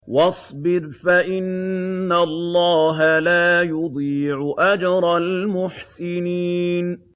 وَاصْبِرْ فَإِنَّ اللَّهَ لَا يُضِيعُ أَجْرَ الْمُحْسِنِينَ